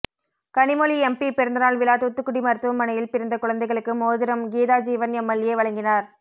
Kanimozhi MP பிறந்தநாள் விழா தூத்துக்குடி மருத்துவமனையில் பிறந்த குழந்தைகளுக்கு மோதிரம் கீதாஜீவன் எம்எல்ஏ வழங்கினார்